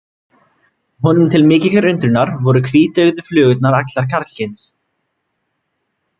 Honum til mikillar undrunar voru hvíteygðu flugurnar allar karlkyns.